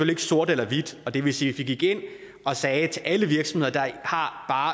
ikke sorte eller hvide det vil sige vi gik ind og sagde til alle virksomheder der har